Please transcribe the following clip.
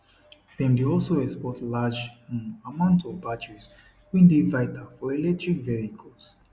dem dey also export large um amount of batteries wey dey vital for electric vehicles